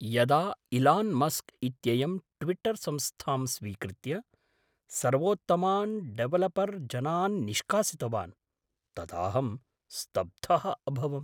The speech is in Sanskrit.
यदा इलान् मस्क् इत्ययं ट्विट्टर् संस्थां स्वीकृत्य सर्वोत्तमान्डेवलपर्जनान् निष्कासितवान् तदाहं स्तब्धः अभवम्।